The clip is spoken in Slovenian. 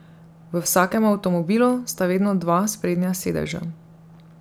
V vsakem avtomobilu sta vedno dva sprednja sedeža.